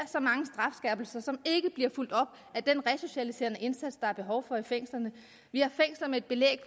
så som ikke bliver fulgt op af den resocialiserende indsats der er behov for i fængslerne vi har fængsler med et belæg